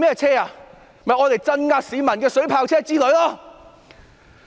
就是鎮壓市民的水炮車之類。